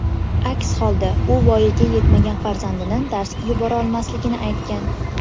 Aks holda u voyaga yetmagan farzandini darsga yubormasligini aytgan.